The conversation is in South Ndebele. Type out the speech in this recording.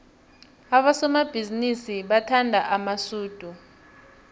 abosomabhizinisi bathanda amasudu